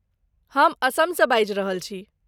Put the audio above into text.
हम असमसँ बाजि रहल छी।